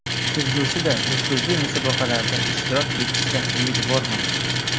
Kelgusida nufuzli musobaqalarda ishtirok etishdan umidvorman.